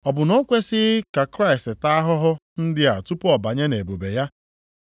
Ọ bụ na o kwesighị ka Kraịst taa ahụhụ ndị a tupu ọ banye nʼebube ya?”